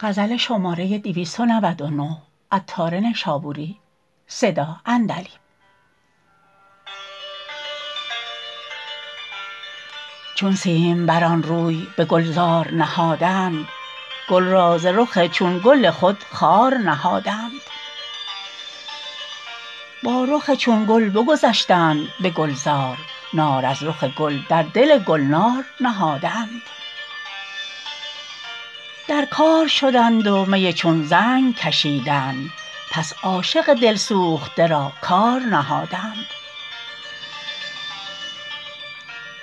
چون سیمبران روی به گلزار نهادند گل را ز رخ چون گل خود خوار نهادند تا با رخ چون گل بگذشتند به گلزار نار از رخ گل در دل گلنار نهادند در کار شدند و می چون زنگ کشیدند پس عاشق دلسوخته را کار نهادند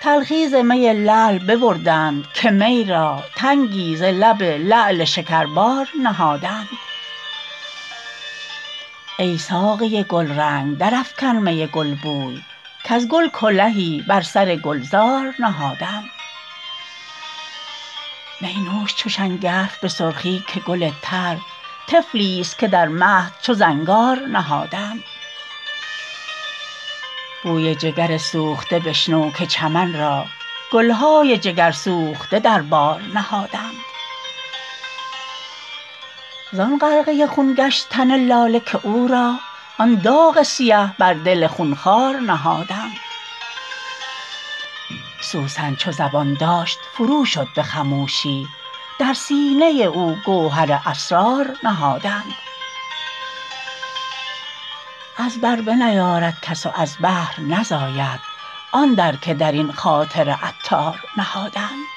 تلخی ز می لعل ببردند که می را تنگی ز لب لعل شکربار نهادند ای ساقی گلرنگ درافکن می گلبوی کز گل کلهی بر سر گلزار نهادند می نوش چو شنگرف به سرخی که گل تر طفلی است که در مهد چو زنگار نهادند بوی جگر سوخته بشنو که چمن را گلهای جگر سوخته در بار نهادند زان غرقه خون گشت تن لاله که او را آن داغ سیه بر دل خون خوار نهادند سوسن چو زبان داشت فروشد به خموشی در سینه او گوهر اسرار نهادند از بر بنیارد کس و از بحر نزاید آن در که درین خاطر عطار نهادند